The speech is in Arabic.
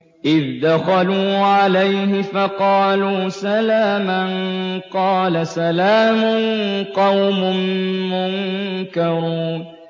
إِذْ دَخَلُوا عَلَيْهِ فَقَالُوا سَلَامًا ۖ قَالَ سَلَامٌ قَوْمٌ مُّنكَرُونَ